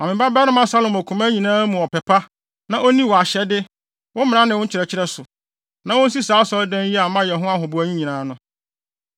Ma me babarima Salomo koma nyinaa mu ɔpɛ pa, na onni wʼahyɛde, wo mmara ne wo nkyerɛkyerɛ so, na onsi saa Asɔredan yi a mayɛ ho ahoboa nyinaa no.”